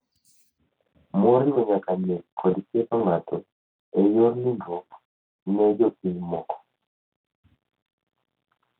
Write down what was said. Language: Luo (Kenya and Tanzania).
moriwo nyaka nek kod ketho ng’ato e yor nindruok ne jopiny moko.